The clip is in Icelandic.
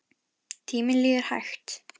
Tíminn líður hægt.